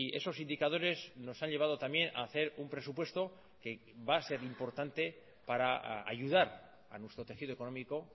esos indicadores nos han llevado también a hacer un presupuesto que va a ser importante para ayudar a nuestro tejido económico